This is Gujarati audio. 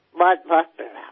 ખૂબ પ્રણામ